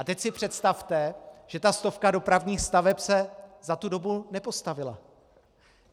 A teď si představte, že ta stovka dopravních staveb se za tu dobu nepostavila.